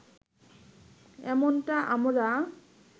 এমনটা আমরা